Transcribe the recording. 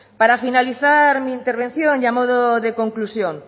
para finalizar mi intervención y a modo de conclusión